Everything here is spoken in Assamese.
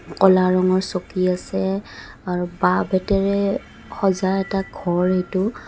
ক'লা ৰঙৰ চকী আছে আৰু বাঁহ বেতেৰে সজা এটা ঘৰ এইটো.